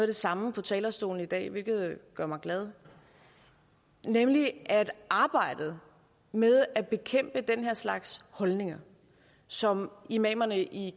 det samme fra talerstolen i dag hvilket gør mig glad nemlig at arbejdet med at bekæmpe den her slags holdninger som imamerne i